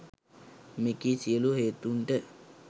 මෙකී සියලු හේතූන්ට